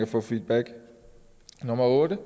få feedback nummer otte